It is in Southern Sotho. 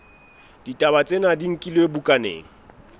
ditaba tsena di nkilwe bukaneng